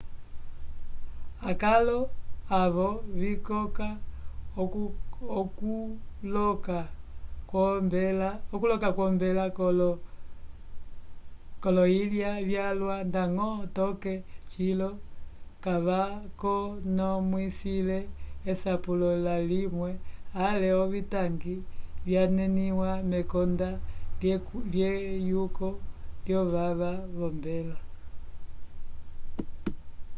akalo avo vikoka okuloka kwombela k'oloyilya vyalwa ndañgo toke cilo kavakonomwisile esapulo layimwe ale ovitangi vyaneniwa mekonda lyeyuko lyovava v'ombela